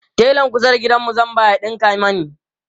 telan kusa da gidanmu zan ba ya ɗinka mani